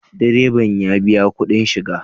Ee, direban ya biya kuɗin shiga